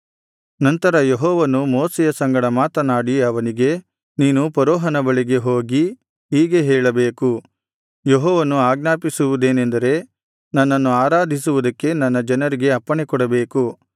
ನಂತರ ಯೆಹೋವನು ಮೋಶೆಯ ಸಂಗಡ ಮಾತನಾಡಿ ಅವನಿಗೆ ನೀನು ಫರೋಹನ ಬಳಿಗೆ ಹೋಗಿ ಹೀಗೆ ಹೇಳಬೇಕು ಯೆಹೋವನು ಆಜ್ಞಾಪಿಸುವುದೇನೆಂದರೆ ನನ್ನನ್ನು ಆರಾಧಿಸುವುದಕ್ಕೆ ನನ್ನ ಜನರಿಗೆ ಅಪ್ಪಣೆಕೊಡಬೇಕು